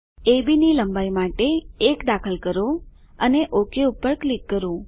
અબ ની લંબાઈ માટે 1 દાખલ કરો અને ઓક પર ક્લિક કરો